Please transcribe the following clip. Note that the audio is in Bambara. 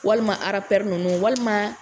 Walima Rapɛri ninnu walima